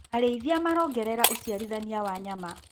Arĩithia marongerera uciarithania wa nyama.